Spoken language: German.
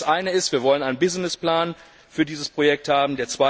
Das eine ist Wir wollen einen Businessplan für dieses Projekt haben.